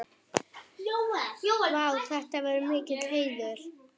Vá, þetta er mikill heiður.